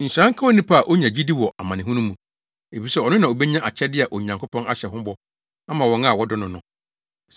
Nhyira nka onipa a onya gyidi wɔ amanehunu mu, efisɛ ɔno na obenya akyɛde a Onyankopɔn ahyɛ ho bɔ ama wɔn a wɔdɔ no no.